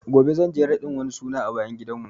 Gobe zan je wani raɗin suna a bayan gidan mu